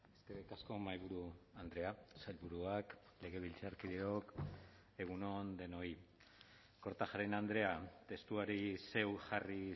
eskerrik asko mahaiburu andrea sailburuak legebiltzarkideok egun on denoi kortajarena andrea testuari zeuk jarri